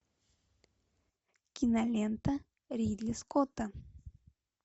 кинолента ридли скотта